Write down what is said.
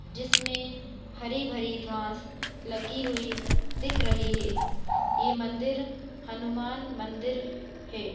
जिसमे हरी भरी घास लगी हुई दिख रही है ये मंदिर हनुमान मंदिर है।